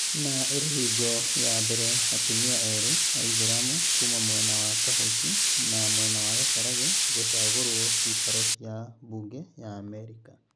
Na ĩrĩ hingo ya mbele atumia erĩ aithĩramu kuma mwena wa Kahũti na mwena wa Gacharage gũchagũrwo cikaro cia mbunge ya Amerika